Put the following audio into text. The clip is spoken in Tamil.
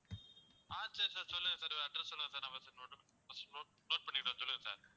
ஆஹ் சரி sir சொல்லுங்க sir address சொல்லுங்க sir நான் first note first note note பண்ணிக்கிடுதேன் சொல்லுங்க sir